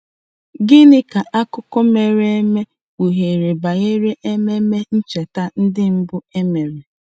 Gịnị ka akụkọ mere eme kpughere banyere ememe ncheta ndị mbụ e mere.